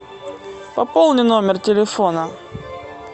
пополни номер телефона